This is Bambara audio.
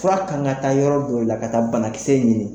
Fura kan ka taa yɔrɔ dow la ka taa banakisɛ ɲini